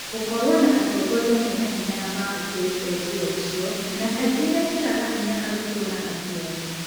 Gũkorwo na atongoria menahinya na maamũkĩrĩte njĩra icio na kaingĩ mekĩraga hinya kaingĩ arutwo na aciari.